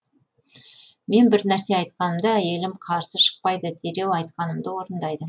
мен бір нәрсе айтқанымда әйелім қарсы шықпайды дереу айтқанымды орындайды